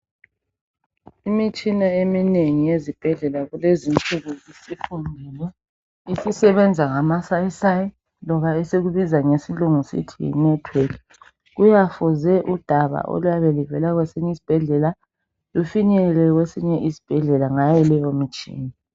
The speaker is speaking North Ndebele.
Imitshina eminengi ezibhedlela kulezinsuku isisebenza ngamasayisayi loba esikubiza ngesilungu sithi yi network kuyafuze udaba oluyabe luvela kwesinye isibhedlela lufinyelele kwesinye isibhedlela ngayo leyo mitshina